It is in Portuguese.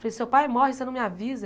Falei, seu pai morre, e você não me avisa?